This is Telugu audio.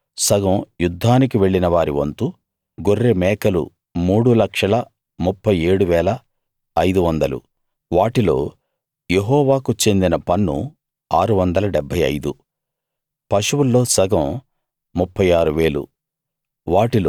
అందులో సగం యుద్ధానికి వెళ్ళిన వారి వంతు గొర్రె మేకలు 3 37 500 వాటిలో యెహోవాకు చెందిన పన్ను 675 పశువుల్లో సగం 36000